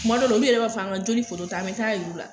Tuma dɔ la olu yɛrɛ b'a fɔ an ka joli foto ta, an bɛ taa yir'u la.